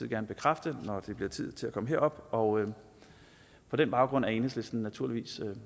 gerne bekræfte når det bliver tid til at komme herop og på den baggrund er enhedslisten naturligvis